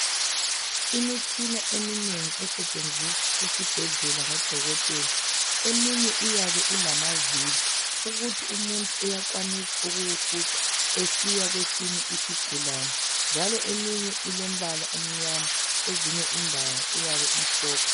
Imitshina eminengi esetshenziswa esibhedlela ngodokotela eminye iyabe ilamavili ukuthi umuntu uyakwanisa ukuwufuqa esiya kwesinye isigulane njalo eminye eilombala omnyama ,kwezinye indawo iyabe imhlophe.